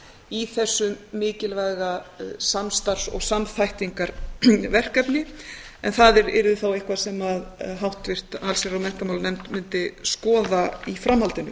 í þessu mikilvæga samstarfs og samþættingarverkefni en það yrði þá eitthvað sem háttvirt allsherjar og menntamálanefnd mundi skoða í framhaldinu